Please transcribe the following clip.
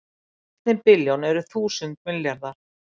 Í einni billjón eru þúsund milljarðar